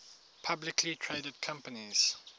publicly traded companies